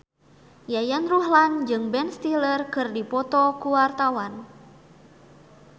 Yayan Ruhlan jeung Ben Stiller keur dipoto ku wartawan